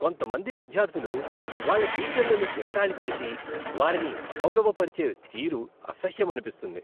కొంతమంది విద్యార్థులు వాళ్ళ టీచర్లను ఎగతాళి చేసి వారిని అగౌరవపరిచే తీరు అసహ్యమనిపిస్తుంది.